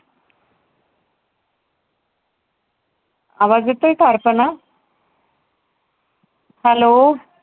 आवाज येतोय का ऐकायला? Hello